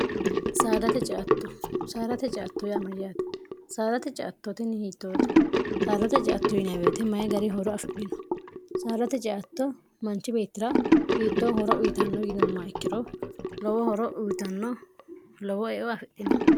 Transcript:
csaalate ceatto yaamajaate saalate ciattootnni hiittoote saalote catto yinwete mayi gari horo afidhino saalate ceatto manchi beettira hiittoo horo uyitanno yinumma ikkiro lowo horo uyitanno lowo eo afidhino